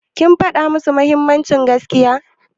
Kin faɗa musu mahimmancin gaskiya?